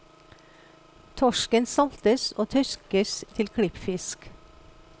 Torsken saltes og tørkes til klippfisk.